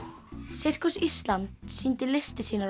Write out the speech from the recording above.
sirkus Íslands sýndi listir sínar á